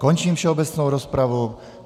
Končím všeobecnou rozpravu.